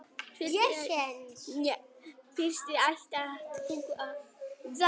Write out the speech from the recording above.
Fyrst ætti að athuga hvort diskurinn sé skítugur, hafi til dæmis mikið af fingraförum.